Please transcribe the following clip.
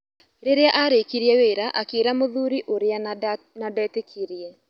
Rĩria arĩkirie wĩra akĩĩra mũthuri ũrĩa na ndetĩkirie.